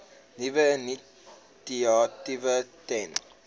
nuwe initiatiewe ten